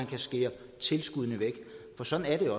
kan skære tilskuddene væk for sådan er det